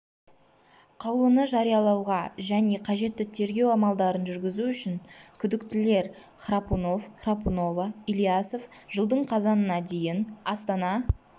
қаулыны жариялауға және қажетті тергеу амалдарын жүргізу үшін күдіктілер храпунов храпунова ильясов жылдың қазанына дейін астана